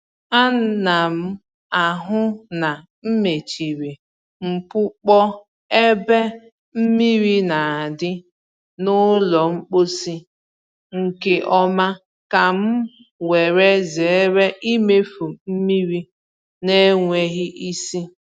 Ana m ahụ na mechiri mpukpọ ébé mmiri na adi n’ụlọ mposi nke ọma ka m were zere imefu mmiri n'enweghị ịsị